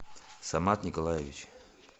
самат николаевич